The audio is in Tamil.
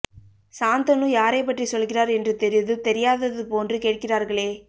சாந்தனு யாரை பற்றி சொல்கிறார் என்று தெரிந்தும் தெரியாதது போன்று கேட்கிறார்களே